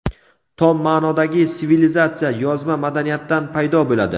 Tom ma’nodagi sivilizatsiya yozma madaniyatdan paydo bo‘ladi.